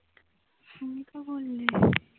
তুমি তো বললে